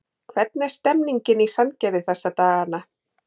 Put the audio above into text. Hvernig er stemningin í Sandgerði þessa dagana?